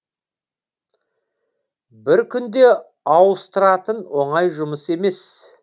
бір күнде ауыстыратын оңай жұмыс емес